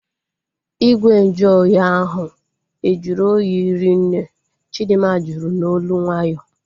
Igwe nju ahụ oyi ahu e juru oyi ri nne? Chidinma jụrụ n'olu nwayọọ